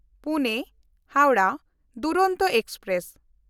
Pune-Howrah Duronto express